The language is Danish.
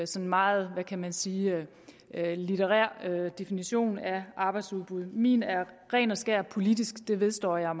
sådan meget hvad kan man sige litterær definition af arbejdsudbud min er ren og skær politisk det vedstår jeg